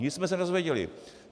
Nic jsme se nedověděli.